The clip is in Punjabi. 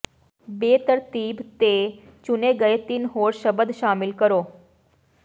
ਬੇਤਰਤੀਬ ਤੇ ਚੁਣੇ ਗਏ ਤਿੰਨ ਹੋਰ ਸ਼ਬਦ ਸ਼ਾਮਲ ਕਰੋ